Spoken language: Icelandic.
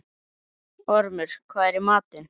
Ormur, hvað er í matinn?